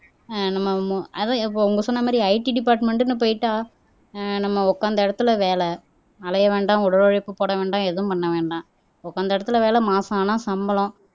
ஆஹ் நம்ம மு அதான் இப்ப இவங்க சொன்ன மாதிரி IT டிபார்ட்மென்ட்ன்னு போயிட்டா ஆஹ் நம்ம உட்கார்ந்தா இடத்துல வேலை அலையை வேண்டாம் உடலுழைப்பு போட வேண்டாம் எதுவும் பண்ண வேண்டாம் உட்கார்ந்த இடத்துல வேலை மாசம் ஆனா சம்பளம்